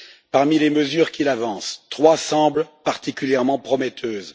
Parmi les mesures qu'il avance, trois semblent particulièrement prometteuses.